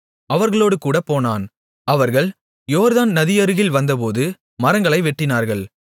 அவர்களோடேகூடப் போனான் அவர்கள் யோர்தான் நதியருகில் வந்தபோது மரங்களை வெட்டினார்கள்